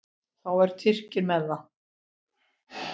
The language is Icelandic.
Þá eru Tyrkir ekki með.